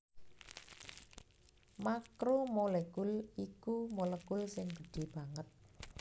Makromolekul iku molekul sing gedhé banget